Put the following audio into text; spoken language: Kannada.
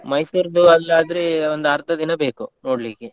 Mysore ರ್ದು ಅಲ್ಲಿ ಆದ್ರೆ ಒಂದ್ ಅರ್ದ ದಿನ ಬೇಕು ನೋಡ್ಲಿಕ್ಕೆ.